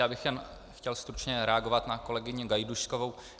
Já bych jen chtěl stručně reagovat na kolegyni Gajdůškovou.